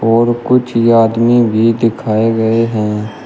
और कुछ आदमी भी दिखाएं गए हैं।